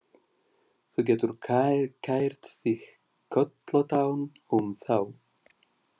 Þú getur kært þig kollóttan um þá.